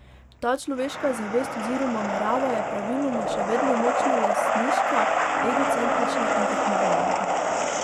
Ta človeška zavest oziroma narava je praviloma še vedno močno lastniška, egocentrična in tekmovalna.